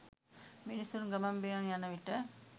මිනිසුන් ගමන් බිමන් යන විට